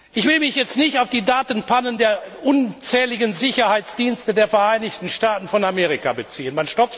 Ich will mich jetzt nicht auf die Datenpannen der unzähligen Sicherheitsdienste der Vereinigten Staaten von Amerika beziehen.